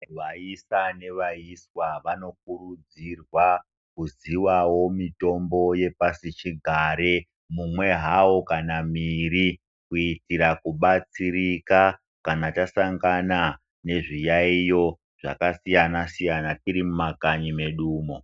Vaisa nevaiswa vanokurudzirwa kuzivawo mitombo yepasichigare mumwe hawo kana miiri kuitira kubatsirika kan tasangana nezviyaiyo zvakasiyana siyana tiri mumakanyi mwedumwo.